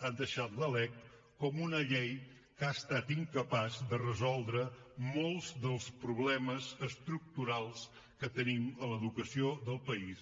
ha deixat la lec com una llei que ha estat incapaç de resoldre molts dels problemes estructurals que tenim a l’educació del país